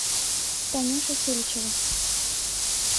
танюша селичева